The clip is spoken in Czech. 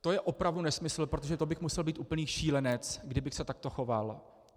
To je opravdu nesmysl, protože to bych musel být úplný šílenec, kdybych se takto choval.